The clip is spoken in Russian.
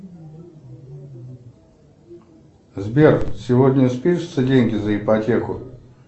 сбер сегодня спишутся деньги за ипотеку